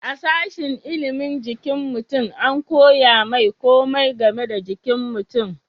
a sashin ilimin jikin mutum an koya mai komai game da jikin mutum